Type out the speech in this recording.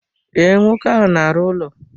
Ee, nwoke ahụ na arụ ụlọ.